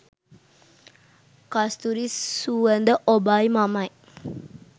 කස්තුරි සුවඳ ඔබයි මමයි.